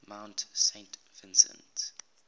mount saint vincent